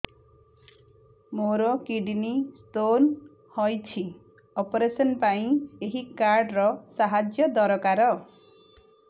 ମୋର kidney stone ହଇଛି operation ପାଇଁ ଏହି କାର୍ଡ ର ସାହାଯ୍ୟ ଦରକାର